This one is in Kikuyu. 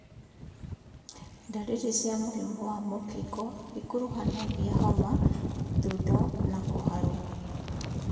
Ndariri cia mũrimũ wa mũkingo ikuruhanagia homa, thundo na kũharwo